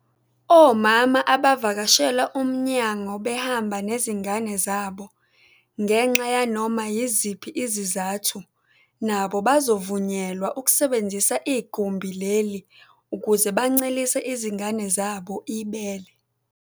Omama abavakashela umnyango behamba nezingane zabo ngenxa yanoma yiziphi izizathu nabo bazovunyelwa ukusebenzisa igumbi leli ukuze bancelise izingane zabo ibele.